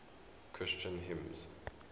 christian hymns